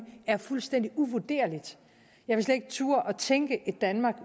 er fuldstændig uvurderligt jeg vil slet ikke turde at tænke et danmark